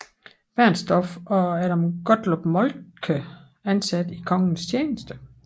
Bernstorff og Adam Gottlob Moltke ansat i kongens tjeneste